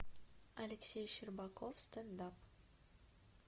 алексей щербаков стендап